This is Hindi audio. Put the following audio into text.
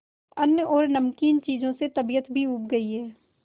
अन्न और नमकीन चीजों से तबीयत ऊब भी गई है